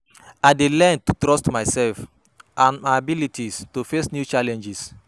I dey learn to trust myself and my abilities to face new challenges.